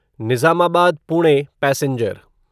Nizamabad Pune passenger